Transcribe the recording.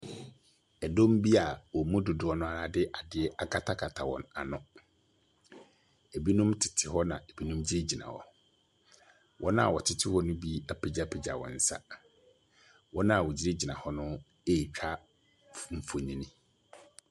Ɛdɔm bi a wɔn mu dodoɔ no ara de adeɛ akatakata wɔn ano. Ebinom tete hɔ na ebi gyingyina hɔ. Wɔn a wɔtete hɔ no bi apegya wɔn nsa. Wɔn a wɔgyingyina hx no retwa mfonyini.